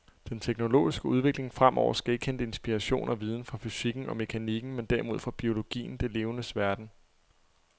Den teknologiske udvikling fremover skal ikke hente inspiration og viden fra fysikken og mekanikken, men derimod fra biologien, det levendes verden.